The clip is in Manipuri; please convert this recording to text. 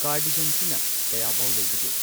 ꯀꯥꯔꯗꯤꯒꯟꯁꯤꯅ ꯀꯌꯥꯕꯥꯎ ꯂꯩꯕꯒꯦ꯫